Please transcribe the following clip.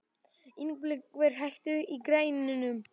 Ingibert, hækkaðu í græjunum.